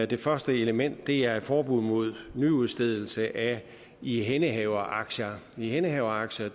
det første element er et forbud mod nyudstedelse af ihændehaveraktier ihændehaveraktier